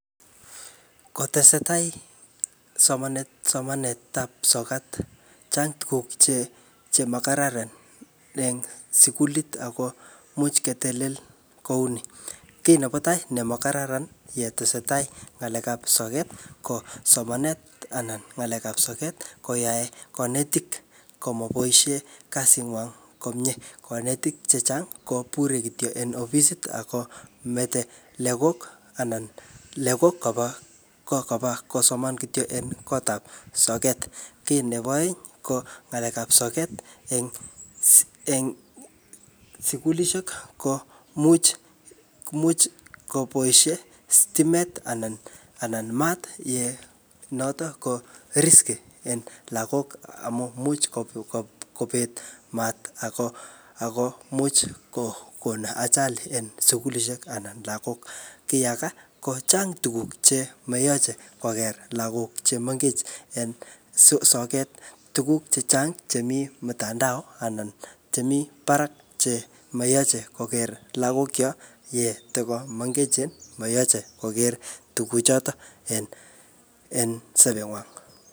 Kotesetai somanet-somanetab sokat, chang tuguk che-che makararan eng sukulit ako imuch ketelel kouni. Kiy nebo netai nemo karararan yetesetai ng'alek ap soket, ko somanet anan ng'alekap soket koyae kanetik komoboisie kasit ngwang komyee. Kanetik chechang ko bure kityo en ofisit akomete legok anan legok koba ko koba kosoman kityo en koot ap soket. Kiy nebo aeng, ko ng'alek ap soket eng-eng sukulishek ko much-much koboisie stimet anan-anan maat ye notok ko risky eng lagok amu much ko-ko kobet maat ako-ako imuch kokon ajali en sukulishek anan lagok. Kiy age kochang tuguk che mayache koker lagok che mengechen eng so-soket. Tuguk chechang chemii mtandao anan che mii barak che mayache koker lagok chok yetiko mengechen. Mayache koker tuguk chotok en-en sobet ngwang